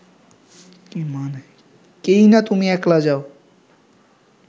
কিইনা তুমি একলা যাও